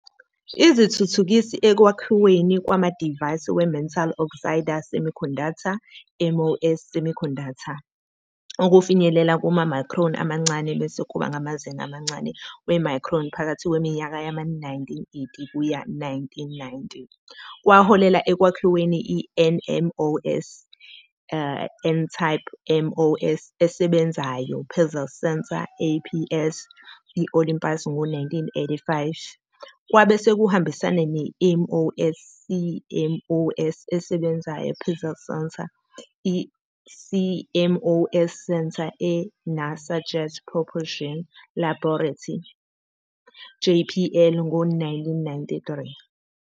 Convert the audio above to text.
Izithuthukisi ekwakhiweni kwamadivayisi we-metal-oxide-semiconductor, MOS, semiconductor, okufinyelela kuma-micron amancane bese kuba ngamazinga amancane we-micron phakathi kweminyaka yama-1980- 1990, kwaholela ekwakhiweni i-NMOS, n-type MOS, esebenzayo-pixel sensor, APS, e-Olympus ngo-1985, kwabe sekuhambisana ne-MOS, CMOS, esebenzayo-pixel sensor, i-CMOS sensor, e-NASA's Jet Propulsion Laboratory, JPL, ngo-1993.